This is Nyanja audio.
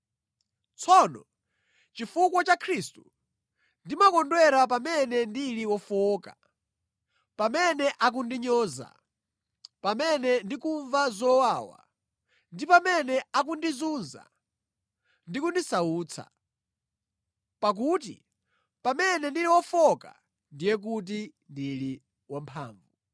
Tsono, chifukwa cha Khristu, ndimakondwera pamene ndili wofowoka, pamene akundinyoza, pamene ndikumva zowawa, ndi pamene akundizunza ndi kundisautsa. Pakuti pamene ndili wofowoka ndiye kuti ndili wamphamvu.